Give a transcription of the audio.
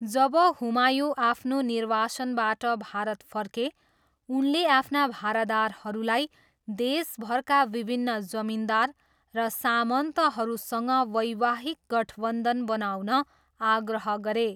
जब हुमायुँ आफ्नो निर्वासनबाट भारत फर्के, उनले आफ्ना भरादारहरूलाई देशभरका विभिन्न जमिन्दार र सामन्तहरूसँग वैवाहिक गठबन्धन बनाउन आग्रह गरे।